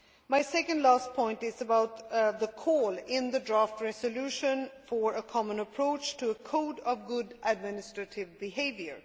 My second to last point is about the call made in the draft resolution for a common approach to a code of good administrative behaviour.